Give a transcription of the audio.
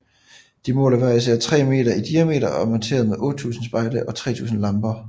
De måler hver især tre meter i diameter og er monteret med 8000 spejle og 300 lamper